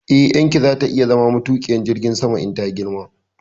Eh, ƴarki za ta iya zama matuƙiyar jirgin sama in ta girma